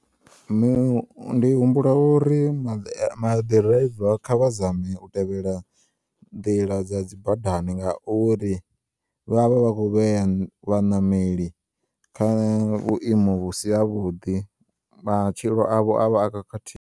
Ndi humbula uri maḓiraiva kha vha zame u tevhela nḓila dza dzi badani nga uri, vha vha vha kho vheya vhaṋameli kha vhuimo husi havhuḓi matshilo avho avha a khakhathi.